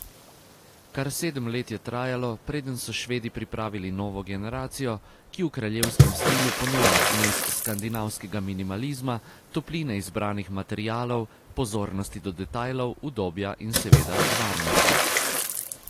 Kar sedem let je trajalo, preden so Švedi pripravili novo generacijo, ki v kraljevskem stilu ponuja zmes skandinavskega minimalizma, topline izbranih materialov, pozornosti do detajlov, udobja in seveda varnosti.